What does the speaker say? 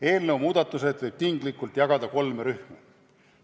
Eelnõu muudatused võib tinglikult jagada kolme rühma.